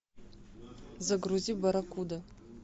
загрузи барракуда